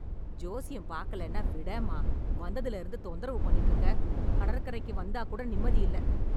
ஜோசியம் பாக்கலேன்னா விடேன்மா, வந்ததுல இருந்து தொந்தரவு பண்ணிட்டு இருக்க. கடற்கரைக்கு வந்தா கூட நிம்மதி இல்ல.